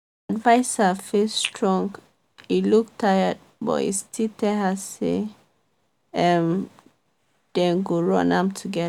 viser face strong e look tired but e still tell her say um dem go run am together.